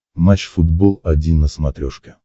матч футбол один на смотрешке